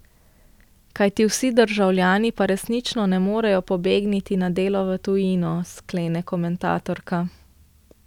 Kajti vsi državljani pa resnično ne morejo pobegniti na delo v tujino, sklene komentatorka.